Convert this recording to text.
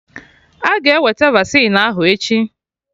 Aga eweta vaccine ahụ echi